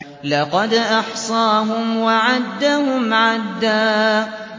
لَّقَدْ أَحْصَاهُمْ وَعَدَّهُمْ عَدًّا